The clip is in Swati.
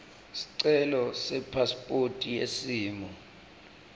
sicelo sepasiphothi yesimo